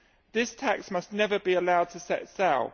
This tax must never be allowed to set sail.